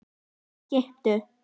Hún er skipuð.